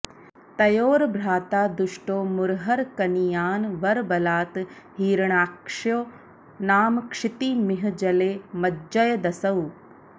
तयोर्भ्राता दुष्टो मुरहर कनीयान् वरबलात् हिरण्याक्षो नाम क्षितिमिह जले मज्जयदसौ